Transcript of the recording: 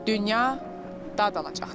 Dünya dad alacaqdır.